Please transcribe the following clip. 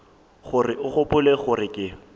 gore o gopola gore ke